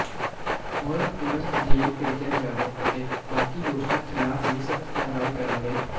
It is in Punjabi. ਹੋਏ ਤੁਰੰਤ ਜੇਲ੍ਹ ਭੇਜਿਆ ਜਾਵੇ ਅਤੇ ਬਾਕੀ ਦੋਸ਼ੀਆਂ ਖਿਲਾਫ ਵੀ ਸਖਤ ਕਾਰਵਾਈ ਕਰਨ ਦੇ